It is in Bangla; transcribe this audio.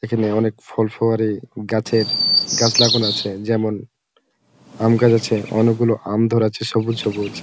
এখানে অনেক ফল ফুয়ারি গাছের গাছ লাগানো আছে যেমন আম গাছ আছে অনেক গুলো আম ধরেছে সবুজ সবুজ।